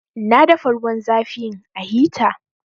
Na dafa ruwan zafin a hita